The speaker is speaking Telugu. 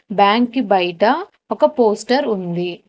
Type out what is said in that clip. బ్యాంకు బయట ఒక పోస్టర్ ఉంది.